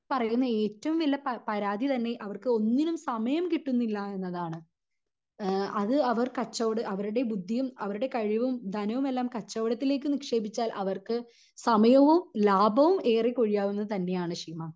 പറയുന്ന ഏറ്റവും വലിയ പരാതി തന്നെ അവർക്ക് ഒന്നണിനും സമയം കിട്ടുന്നില്ല എന്നതാണ് അഹ് അത് അവർ കച്ചവട അവരുടെ ബുദ്ധിയും അവരുടെ കഴിവും ധനവും എല്ലാം കച്ചവടത്തിലേക്ക് നിക്ഷേപിച്ചാൽ അവർക്ക് സമയവും ലാഭവും ഏറെ കൊഴിയാവുന്നത് തന്നെ ആണ് ശീമ